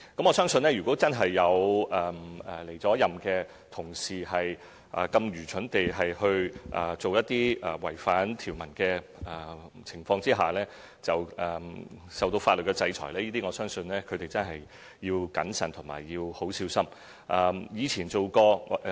我相信，如果真有離任同事愚蠢地做一些違反條文的情況，而受到法律制裁，我相信他們真的要謹慎及小心。